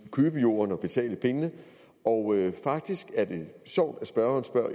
købe jorden og betale pengene og faktisk er det sjovt at spørgeren spørger